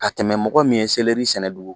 Ka tɛmɛ mɔgɔ min ye sɛnɛ dugu